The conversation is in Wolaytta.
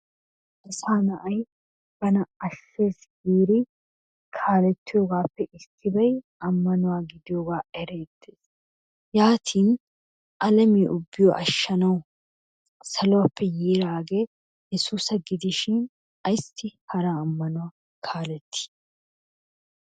Asaa na'ay bana asheessi giidi kaalettiyoobaape issoy ammanuwa gidiyoogaa eriidi yaatin alammiya ubbaa ashanawu saluwaappe yidaagee yesuusa gidishin ayssi hara ammanuwaa kaaleetii?